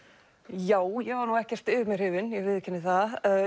já ég var nú ekkert yfir mig hrifin ég viðurkenni það